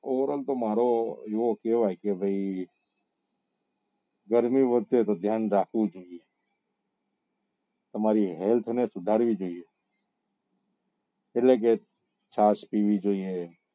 એવું કેવાય કે ભાઈ ગરમી વધશે તો ધ્યાન રાખવું જોઈએ તમારી health ને સુધારવી જોઈએ એટલે કે છાસ પીવી જોઈએ